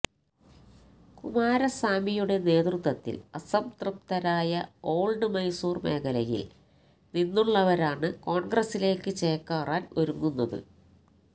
കുമാരസ്വാമിയുടെ നേതൃത്വത്തില് അസംതൃപ്തരായ ഓള്ഡ് മൈസൂര് മേഖലയില് നിന്നുള്ളവരാണ് കോണ്ഗ്രസിലേക്ക് ചേക്കേറാന് ഒരുങ്ങുന്നത്